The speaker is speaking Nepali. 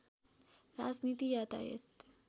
राजनीति यातायात